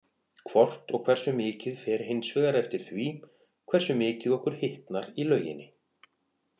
Hvort og hversu mikið fer hins vegar eftir því hversu mikið okkur hitnar í lauginni.